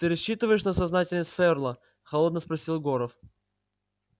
ты рассчитываешь на сознательность ферла холодно спросил горов